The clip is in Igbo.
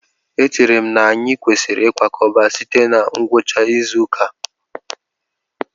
Echere m na anyị kwesịrị ịkwakọba site na ngwucha izu ụka a